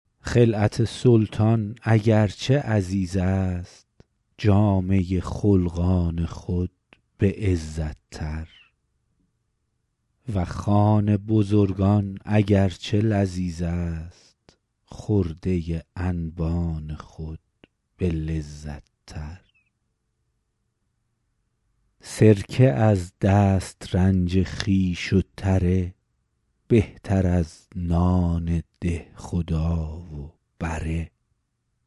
خلعت سلطان اگر چه عزیز است جامه خلقان خود به عزت تر و خوان بزرگان اگر چه لذیذ است خرده انبان خود به لذت تر سرکه از دسترنج خویش و تره بهتر از نان دهخدا و بره